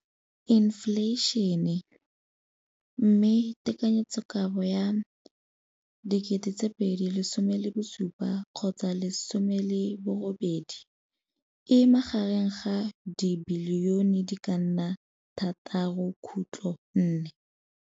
Infleišene, mme tekanyetsokabo ya 2017, 18, e magareng ga R6.4 bilione.